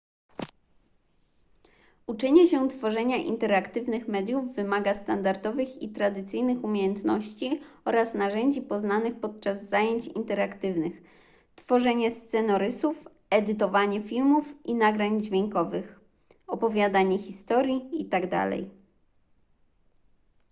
uczenie się tworzenia interaktywnych mediów wymaga standardowych i tradycyjnych umiejętności oraz narzędzi poznanych podczas zajęć interaktywnych tworzenie scenorysów edytowanie filmów i nagrań dźwiękowych opowiadanie historii itd..